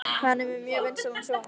Hann er með mjög vinsælan sjónvarps